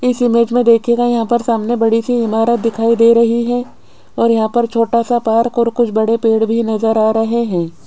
इस इमेज में देखिएगा यहां पर सामने बड़ी सी इमारत दिखाई दे रही है और यहां पर छोटा सा पार्क और कुछ बड़े पेड़ भी नजर आ रहे हैं।